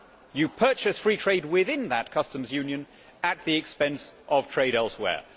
You purchase free trade within that customs union at the expense of trade elsewhere.